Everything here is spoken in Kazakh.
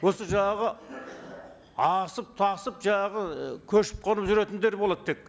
осы жаңағы асып тасып жаңағы і көшіп қонып жүретіндер болады тек